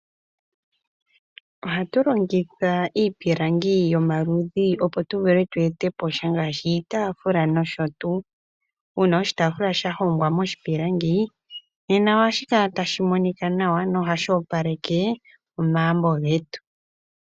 Ohatu longitha iipilangi yomaludhi opo tu vule tu ete po sha ngaashi iitaafula nosho tuu. Uuna oshitaafula sha hongwa moshipilangi nena ohashi kala tashi monika nawa nohashi opaleke omagumbo getu.